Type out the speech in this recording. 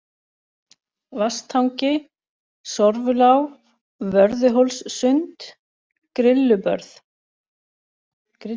Vatnstangi, Sorfulág, Vörðuhólssund, Grillubörð